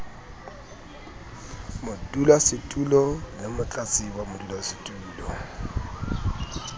modulasetulo le motlatsi wa modulasetulo